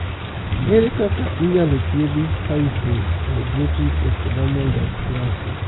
Ere kaka inyalo thiedhi hypohidrotic ectodermal dysplasia?